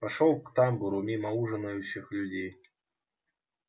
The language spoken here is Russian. пошёл к тамбуру мимо ужинающих людей